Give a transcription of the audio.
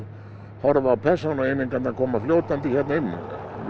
horfa á koma fljótandi hér inn við